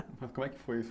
Mas como é que foi isso?